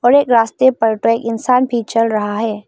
एक रास्ते पर तो इंसान भी चल रहा है।